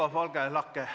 Olge lahke!